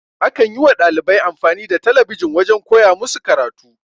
A kan yi wa dalibai amfani da talabijin wajen koya musu karatu.